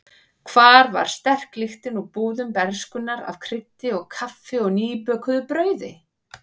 Hvar var sterk lyktin úr búðum bernskunnar af kryddi og kaffi og nýbökuðu brauði?